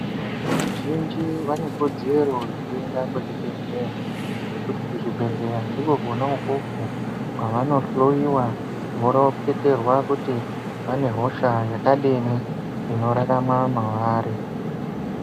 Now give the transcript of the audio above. Vantu vazhinji vane kodzero yekuenda kuzvibhedhleya ngekuti kuzvibhedhleya Ndikwo kwona ukwokwo kwavano hloyiwa voroketerwa kuti vane hosha yakadini inorarama mwaari.